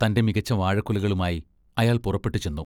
തൻ്റെ മികച്ച വാഴക്കുലകളുമായി അയാൾ പുറപ്പെട്ടുചെന്നു.